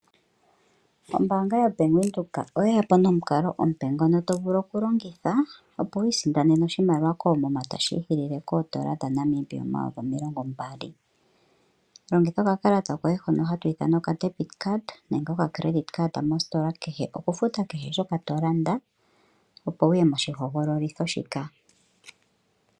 Ombaanga yobank Windhoek oyeyapo nomukalo omupe ngono tovulu okulongitha, opo wiisindanene oshimaliwa koomuma tashi ziilile kondola dhaNamibia omayovi 20 000, longitha okakalata koye hono hakuti ocredit card nenge debit card okulanda kehe mositola kehe opo wuye moshihodhololithi shika.